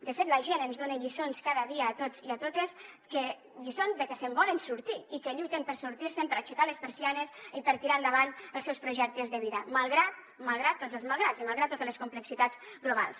de fet la gent ens dona lliçons cada dia a tots i a totes lliçons de que se’n volen sortir i que lluiten per sortir se’n per aixecar les persianes i per tirar endavant els seus projectes de vida malgrat tots els malgrats i malgrat totes les complexitats globals